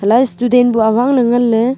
student bu awang ley nganley.